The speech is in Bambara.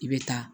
I bɛ taa